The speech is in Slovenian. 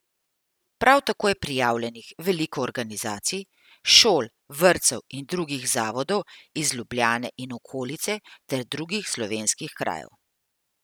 Prav tako je prijavljenih veliko organizacij, šol, vrtcev in drugih zavodov iz Ljubljane in okolice ter drugih slovenskih krajev.